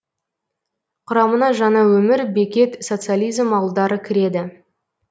құрамына жаңаөмір бекет социализм ауылдары кіреді